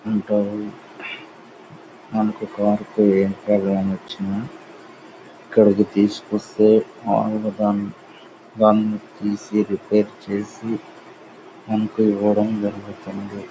Interval మనకు car కి ఏ ప్రాబ్లెమ్ వచ్చిన ఇక్కడకి తీసుకొని వస్తే వాళ్ళు దాన్ని తీసి రిపేర్ చేసి మనకి ఇవ్వడం జరుగుతుంది .